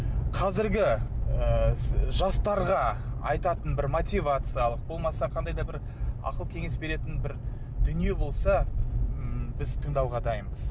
қазіргі ыыы жастарға айтатын бір мотивациялық болмаса қандай да бір ақыл кеңес беретін бір дүние болса ммм біз тыңдауға дайынбыз